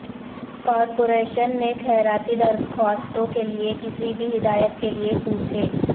corporation نے خیراتی درخواستوں کے لئے کسی بھی ہدایات کے لئے پوچھیں